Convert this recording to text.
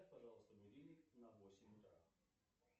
поставь пожалуйста будильник на восемь утра